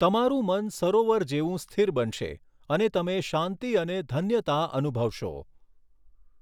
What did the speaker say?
તમારૂં મન સરોવર જેવું સ્થિર બનશે અને તમે શાંતિ અને ધન્યતા અનુભવશો.